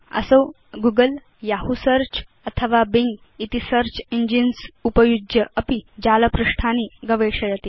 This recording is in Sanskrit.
असौ googleयहू सेऽर्च अथवा बिंग इति सेऽर्च इंजिन्स् उपयुज्यापि जालपृष्ठानि गवेषयति